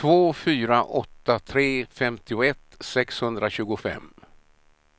två fyra åtta tre femtioett sexhundratjugofem